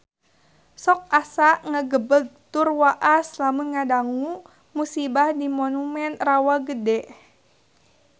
Sok asa ngagebeg tur waas lamun ngadangu musibah di Monumen Rawa Gede